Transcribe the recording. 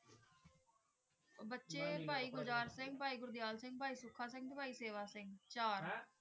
ਊ ਬਚੀ ਪੈ ਗੁਰਦਰ ਸਿੰਘ ਪੈ ਗੁਰ੍ਦੀਯਲ ਸਿੰਘ ਪੈ ਸੁਖਾ ਸਿੰਘ ਤੇ ਪੈ ਸੇਵਾ ਸਿੰਘ ਸੀ